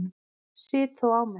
Sit þó á mér.